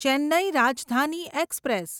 Chennai Rajdhani express